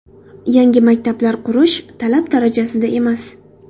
Yangi maktablar qurish talab darajasida emas.